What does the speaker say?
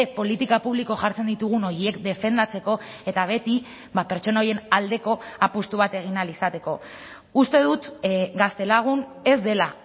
politika publiko jartzen ditugun horiek defendatzeko eta beti pertsona horien aldeko apustu bat egin ahal izateko uste dut gaztelagun ez dela